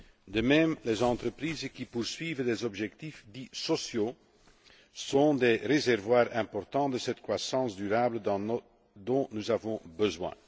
De même, les entreprises qui poursuivent des objectifs dits sociaux sont des réservoirs importants de cette croissance durable dont nous avons besoin.